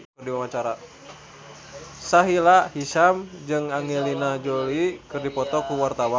Sahila Hisyam jeung Angelina Jolie keur dipoto ku wartawan